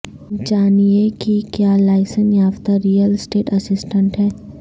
جانیں کہ کیا لائسنس یافتہ ریئل اسٹیٹ اسسٹنٹ ہے